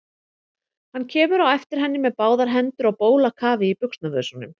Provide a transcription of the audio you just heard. Hann kemur á eftir henni með báðar hendur á bólakafi í buxnavösunum.